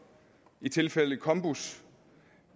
i tilfældet med combus